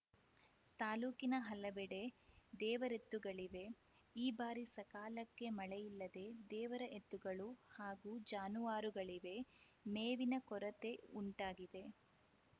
ತಾಲೂಕಿನ ಹಲವೆಡೆ ದೇವರೆತ್ತುಗಳಿವೆ ಈ ಬಾರಿ ಸಕಾಲಕ್ಕೆ ಮಳೆಯಿಲ್ಲದೆ ದೇವರ ಎತ್ತುಗಳು ಹಾಗೂ ಜಾನುವಾರುಗಳಿವೆ ಮೇವಿನ ಕೊರತೆ ಉಂಟಾಗಿದೆ